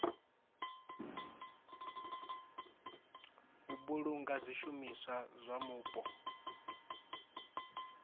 u vhulunga zwishumiswa zwa mupo